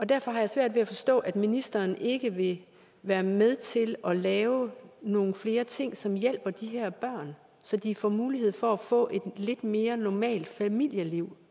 derfor har jeg svært ved at forstå at ministeren ikke vil være med til at lave nogle flere ting som hjælper de her børn så de får mulighed for at få et lidt mere normalt familieliv